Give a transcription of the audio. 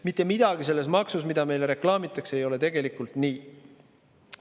Mitte midagi selles maksus, mida meile reklaamitakse, ei ole tegelikult nii.